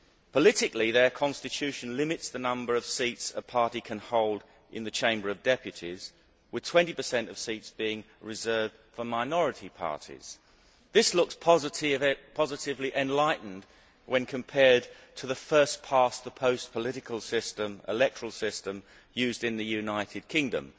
Politically, their Constitution limits the number of seats a party can hold in the Chamber of Deputies, with 20 of seats being reserved for minority parties. This looks positively enlightened when compared to the first past the post' electoral system used in the United Kingdom